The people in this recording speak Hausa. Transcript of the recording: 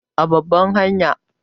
A babbar hanya